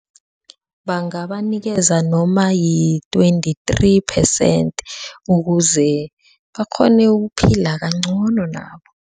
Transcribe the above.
Bangabanikeza noma yi-twenty-three percent ukuze bakghone ukuphila kancono nabo.